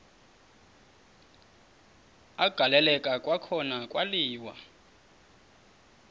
agaleleka kwakhona kwaliwa